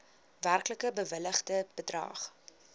werklik bewilligde bedrag